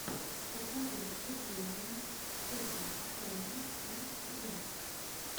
покажи выступления токинг тома и фрэндс